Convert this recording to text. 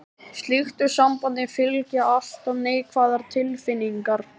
Slíku sambandi fylgja alltaf neikvæðar tilfinningar.